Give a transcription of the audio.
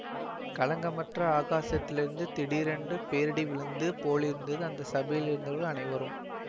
களங்கமற்ற ஆகாசத்திலிருந்து திடீரென்று பேரிடி விழுந்து போலிருந்தது அந்த சபையிலிருந்தவர்கள் அனைவருக்கும்